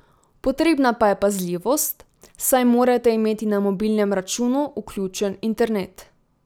Potrebna pa je pazljivost, saj morate imeti na mobilnem računu vključen internet.